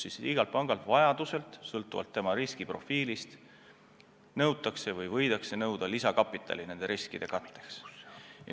Igalt pangalt võidakse vajadusel sõltuvalt tema riskiprofiilist nõuda lisakapitali nende riskide katteks.